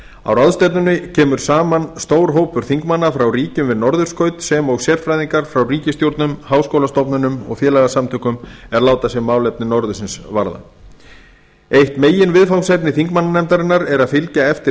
á ráðstefnunni kemur saman stór hópur þingmanna frá ríkjum við norðurskaut sem og sérfræðingar frá ríkisstjórnum háskólastofnunum og félagasamtökum er láta sig málefni norðursins varða eitt meginviðfangsefni þingmannanefndarinnar er að fylgja eftir